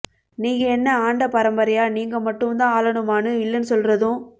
நீ என்ன ஆண்ட பரம்பரையா நீங்க மட்டும் தான் ஆளணுமான்னு வில்லன் சொல்றதும்